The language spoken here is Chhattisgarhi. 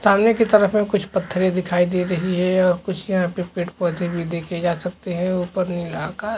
सामने की तरफ में कुछ पत्थरे दिखाई दे रही है और कुछ यहाँ पे पेड़-पौधे भी देखे जा सकते है ऊपर नीला आकाश--